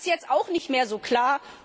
Das ist jetzt auch nicht mehr so klar.